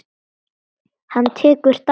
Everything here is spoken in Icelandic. Hann tekur dæmi.